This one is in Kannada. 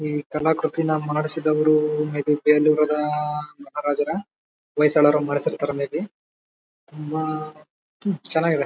ಈ ಕರ್ಣ ಕುರುಚಿನಾ ಮರಣಿಸಿದವರು ಮೇ ಬಿ ಬೇಲೂರಿನ ಜನ ಹೊಯ್ಸಳರು ಮಾಡಿಸಿರ್ತಾರೆ ಮೇ ಬಿ ತುಂಬಾ ಚೆನ್ನಾಗಿದೆ.